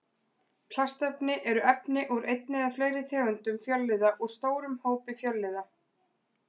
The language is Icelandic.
Plastefni eru efni úr einni eða fleiri tegundum fjölliða úr stórum hópi fjölliða.